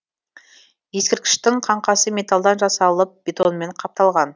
ескерткіштің қаңқасы металдан жасалып бетонмен қапталған